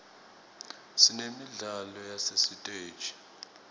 sinemidlalo yasesiteji